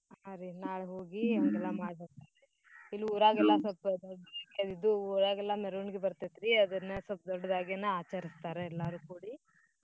ಹಾ ರೀ ನಾಳೇ ಹೋಗಿ ಹಂಗೆಲ್ಲಾ ಇಲ್ಲಿ ಊರಾಗೆಲ್ಲಾ ಸ್ವಲ್ಪ ಊರಾಗೆಲ್ಲಾ ಮೇರ್ವಣ್ಗಿ ಬರ್ತೇತ್ರೀ ಅದ್ನ್ ಸ್ವಲ್ಪ ದೊಡ್ದಾಗೇನ ಆಚರ್ಸ್ತರಾ ಎಲ್ಲಾರು ಕೂಡಿ.